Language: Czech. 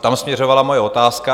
tam směřovala moje otázka.